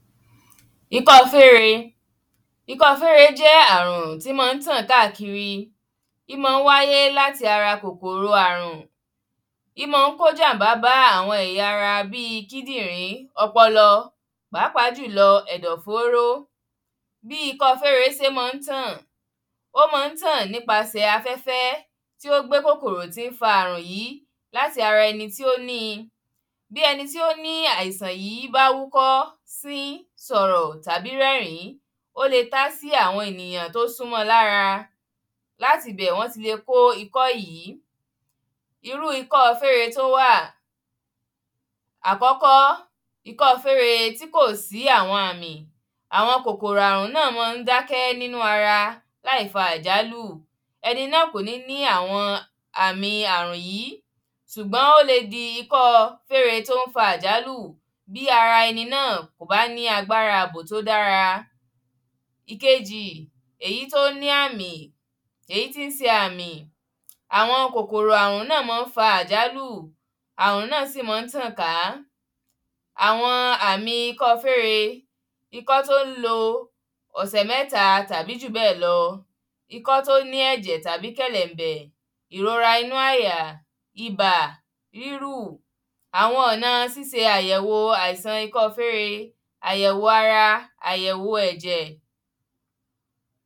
ikọ́ọ fére ikọ́ọ fére jẹ́ àrùn tí mọ́ọ ń tàn káàkiri í mọ́ ń wáyé láti ara kòkòrò àrùn í mọ́ọ ń kó jàǹbá bá àwọn ẹ̀yà ara bíi kídìrí, ọpọlọ, pàápàá jùlọ ẹ̀dọ̀ fóóró bí ikọ́ọ fére se mọ ń tàn ó ma ń tàn nípasẹ̀ afẹ́fẹ́ tí ó gbé kòkòrò tí ń fa àrùn yìí láti ara ẹni tí ó níi bí ẹni tó ní àìsàn yìí bá wúkọ́, sín, sọ̀rọ̀ tàbí rẹ́rìn- ín ó le tá á sí àwọn ènìyàn tó sún mọ́ ọ lára láti ibẹ̀ wọ́n ti le kó ikọ́ yìí irú ikọ́o fére tó wà àkọ́kọ́, ikọ́o fére tí kò sí àwọn àmì àwọn kòkòrò àrùn náà mọ́ ọ ń dákẹ́ nínú ara láìfa àjálù ẹni náà kò ní ní àwọn àmìi àrùn yìí sùgbọ́n ó le di ikọ́o fére tó ń fa àjálù bí ara ẹni náà kò bá ní agbára ààbò tó dára ìkejì, èyí tó ní àmì èyí tí se àmì. àwọn kòkòrò àrùn náà mọ́ ń fa àjálù àrùn náà sì mọ́ ń tàn ká àwọn àmì ikọ́o fére ikọ́ tó ń lo ọ̀sẹ̀ mẹ́ta tàbí jù bẹ́ẹ̀ lọ ikọ́ tó ní ẹ̀jẹ̀ tàbí kẹ̀lẹ̀bẹ̀, ìrora inú àyà, ibà, rírù àwọn ọ̀na a síse àyẹ̀wò àìsàn ikọ́o fére, àyẹ̀wò ara, àyẹ̀wo ẹ̀jẹ̀